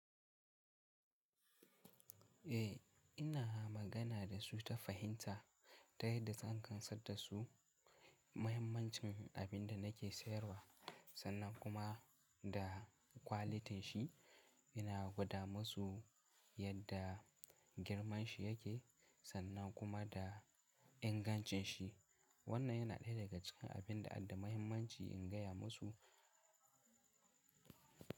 A ina magana da su ta fahimta ta yadda zan gamsar da su mahimmancin abin da na ke sayarwa sannan kuma da kwalitin shi. Ina gwada masu yadda girman shi ya ke sannan kuma da ingancin shi. Wannan ya na ɗaya daga cikin abin da adda mahimmanci in ga ya masu.